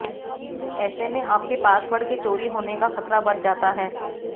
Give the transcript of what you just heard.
ऐसे में आपके पासवर्ड के चोरी होने का खतरा बढ़ जाता है